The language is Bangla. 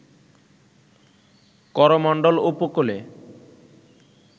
করোমণ্ডল উপকূলে